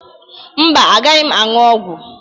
Mba, agaghị m aṅụ ọgwụ.